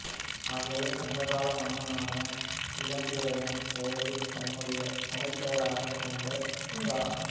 ஆகவே சங்ககால மன்னனான இளந்திரையன் பெயரைத் தன்னுடைய புனைபெயராகக் கொண்டு இரா